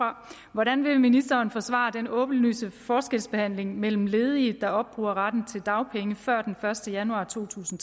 hvordan vil ministeren forsvare den åbenlyse forskelsbehandling mellem ledige der opbruger retten til dagpenge før den første januar to tusind